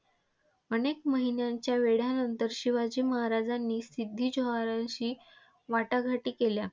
अनेक महिन्यांच्या वेढ्यानंतर शिवाजी महाराजांनी सिद्दी जोहरांशी वाटाघाटी केल्या.